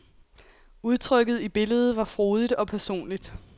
Udtrykket i billedet var frodigt og personligt.